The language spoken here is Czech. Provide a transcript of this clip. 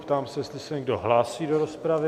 Ptám se, jestli se někdo hlásí do rozpravy?